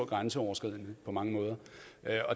grænseoverskridende på mange måder